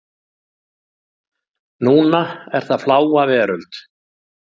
Núna er það Fláa veröld.